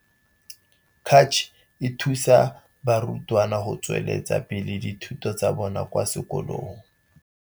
Cach e thusa barutwana go tsweletsa pele dithuto tsa bona tsa kwa sekolong.